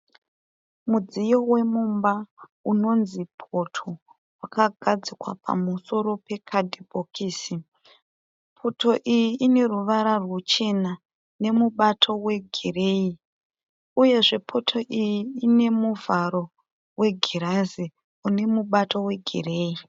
Mudziyo wemumba unonzi poto wakagadzikwa pamusoro pekadhibhokisi. Poto iyi ineruvara rwuchena nemubato wegirinhi. Uyezve poto iyi inemuvharo wegirazi unemubato wegireyi.